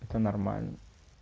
это нормально